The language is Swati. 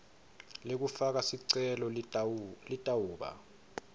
lekufaka sicelo litawuba